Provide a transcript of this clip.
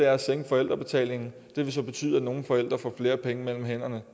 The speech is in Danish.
at sænke forældrebetalingen det vil betyde at nogle forældre får flere penge mellem hænderne og